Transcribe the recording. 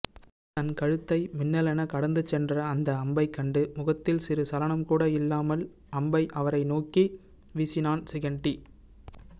தன் கழுத்தை மின்னலெனக் கடந்துசென்ற அந்த அம்பைக்கண்டு முகத்தில் சிறு சலனம்கூட இல்லாமல் அம்பை அவரை நோக்கி வீசினான் சிகண்டி